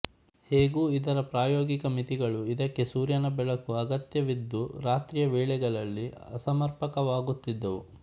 ಹೇಗೂ ಇದರ ಪ್ರಾಯೋಗಿಕ ಮಿತಿಗಳು ಇದಕ್ಕೆ ಸೂರ್ಯನ ಬೆಳಕು ಅಗತ್ಯವಿದ್ದು ರಾತ್ರಿಯ ವೇಳೆಗಳಲ್ಲಿ ಅಸಮರ್ಪಕವಾಗುತ್ತಿದ್ದವು